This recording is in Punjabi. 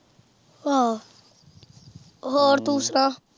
ਆਹੋ ਹੋਰ ਤੂੰ ਸੁਣਾ।